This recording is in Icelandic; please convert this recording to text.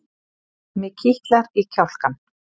Mig kitlar í kjálkann.